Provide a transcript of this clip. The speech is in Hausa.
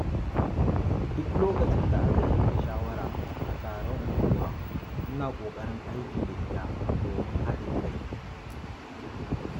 Duk lokacin da aka yanke shawara a taron unguwa, ina ƙoƙarin aiki da ita domin haɗin kai.